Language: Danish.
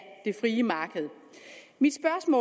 vi